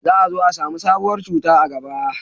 za a zo a samu sabuwar cuta a gaba